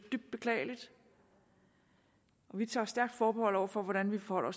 dybt beklageligt vi tager stærkt forbehold over for hvordan vi forholder